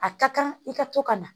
A ka kan i ka to ka na